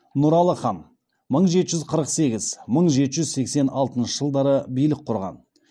нұралы хан мың жеті жүз қырық сегіз мың жеті жүз сексен алтыншы жылдары билік құрған